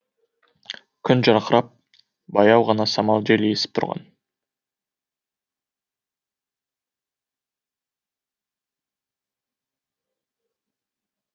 күн жарқырап баяу ғана самал жел есіп тұрған